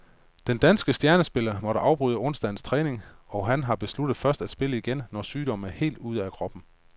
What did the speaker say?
Den danske stjernespiller måtte afbryde onsdagens træning, og han har besluttet først at spille igen, når sygdommen er helt ude af kroppen.